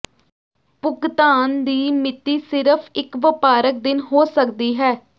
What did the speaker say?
ਭੁਗਤਾਨ ਦੀ ਮਿਤੀ ਸਿਰਫ ਇਕ ਵਪਾਰਕ ਦਿਨ ਹੋ ਸਕਦੀ ਹੈ